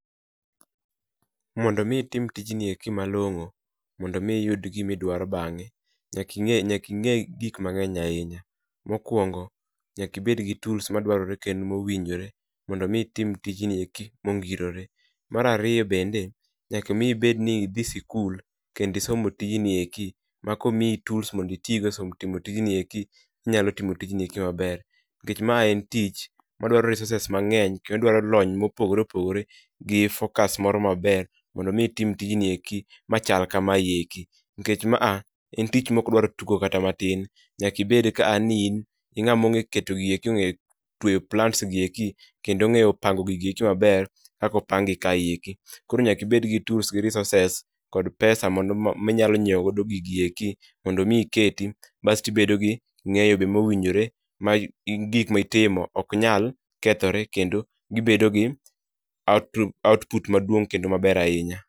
Mondo mi itim tijni eki malong'o mondo mi iyud gima idwaro bang'e, nyaka ing'e gik mang'eny ahinya. Mokuongo, nyaka ibed kod tuls madwarore mongirore. Mar ariyo bende, nyaka mi ibed ni dhi skul, isomo tij i eki ma komiyi tuls mo do itigo esomo tijni eki, inyalo timo tij i ei maber. Nikech mae en tich madwaro resources mang'eny gi focus moro maber mondo mi itim tijni. Tijni eki machal kama eki nikech maa en tich maok dwar tugo kata matin. Nyaka ibed kaa kata niin ing'ama ong'eyo keto gigieke, tweyo plants kendo ong'eyo pango gigieki maber. Kaka opang gi kaeki. Koro nyaka ibed kod tools go resources kod pesa mondo minyalo nyiewo godo gigieki. Mondo mi iketi bas to gik ma itimo ibet gi ng'eyo bende mowinjore ma gik mitimo ok nyal kethore kendo gibedo gi output maduong' kendo maber ahinya.